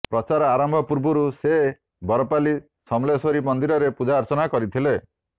ପ୍ରଚାର ଆରମ୍ଭ ପୂର୍ବରୁ ସେ ବରପାଲି ସମଲେଶ୍ୱରୀ ମନ୍ଦିରରେ ପୂଜାର୍ଚ୍ଚନା କରିଥିଲେ